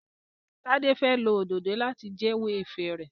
Tade fè ló Òdòdó láti jewo ifẹ rẹ.